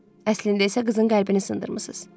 Əslində isə qızın qəlbini sındırmısınız.